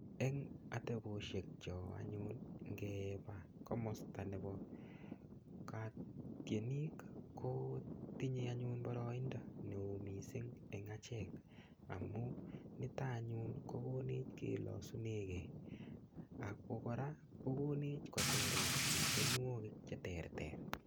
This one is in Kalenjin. Eng ateboshechok anyun ngebe komosta nebo tinik ko tinyei anyun boroindo neo mising eng achek amun nitok anyun kokonech kelosunegei ak kokonech kocherech tienwogik che terter.